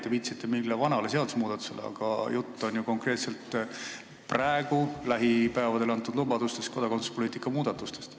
Te viitasite mingile vanale seadusmuudatusele, aga jutt on ju konkreetselt lähipäevadel antud lubadustest kodakondsuspoliitikat muuta.